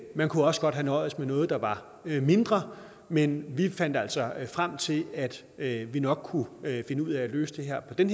man kunne også godt have nøjedes med noget der var mindre men vi fandt altså frem til at at vi nok kunne finde ud af at løse det her på den